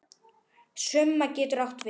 Summa getur átt við